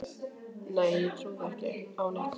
Nei ég trúði ekki á neitt.